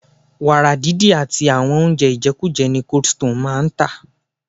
Wàrà didi àti àwọn oúnjẹ ijekuje ni coldstone máa ń tà.